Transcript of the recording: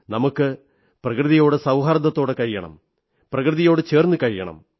നമുക്ക് പ്രകൃതിയോട് സൌഹാർദ്ദത്തോടെ കഴിയണം പ്രകൃതിയോടു ചേർന്നു നാം കഴിയണം